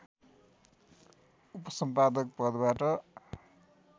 उपसम्पादक पदबाट